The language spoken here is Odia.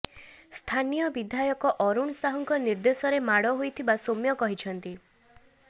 ସ୍ଥାନୀୟ ବିଧାୟକ ଅରୁଣ ସାହୁଙ୍କ ନିର୍ଦ୍ଦେଶରେ ମାଡ଼ ହୋଇଥିବା ସୌମ୍ୟ କହିଛନ୍ତି